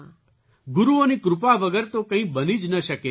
ગુરુઓની કૃપા વગર તો કંઈ બની જ ન શકે જી